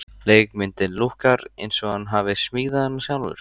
Leikmyndin lúkkar eins og hann hafi smíðað hana sjálfur.